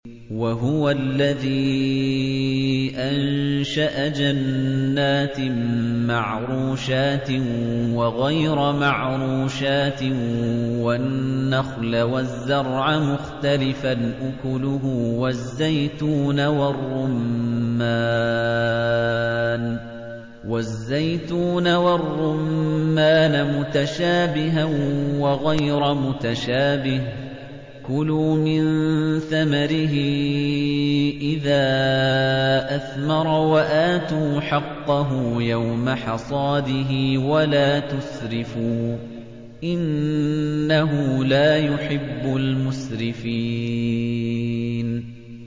۞ وَهُوَ الَّذِي أَنشَأَ جَنَّاتٍ مَّعْرُوشَاتٍ وَغَيْرَ مَعْرُوشَاتٍ وَالنَّخْلَ وَالزَّرْعَ مُخْتَلِفًا أُكُلُهُ وَالزَّيْتُونَ وَالرُّمَّانَ مُتَشَابِهًا وَغَيْرَ مُتَشَابِهٍ ۚ كُلُوا مِن ثَمَرِهِ إِذَا أَثْمَرَ وَآتُوا حَقَّهُ يَوْمَ حَصَادِهِ ۖ وَلَا تُسْرِفُوا ۚ إِنَّهُ لَا يُحِبُّ الْمُسْرِفِينَ